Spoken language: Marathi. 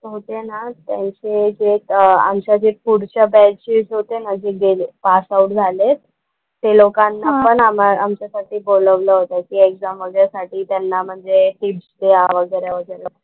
होते ना, त्यांचे ते आमच्या जे पुढच्या बॅचचे एक होते ना जे गेले, पास आऊट झालेत, ते लोकांना पण आम्हा आमच्या साठी बोलवलं होतं की एक्झाम वगैरे साठी त्यांना म्हणजे टिप्स द्या वगैरे वगैरे.